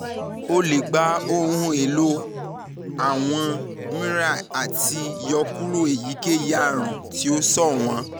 o lè gba àwọn ohun-èlò x àti mri láti yọkúrò èyíkéyìí àrùn tí ó ṣọ̀wọ́n